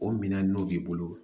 O minɛn n'o b'i bolo